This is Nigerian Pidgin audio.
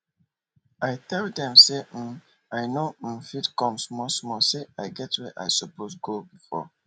i tell dem say um i nor um fit come small small say i get where i suppose go before